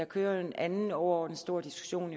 kører en anden overordnet stor diskussion